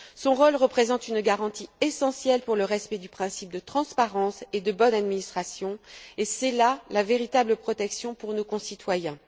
Son rôle représente une garantie essentielle pour le respect du principe de transparence et de bonne administration, et c'est là la véritable protection pour nos concitoyens.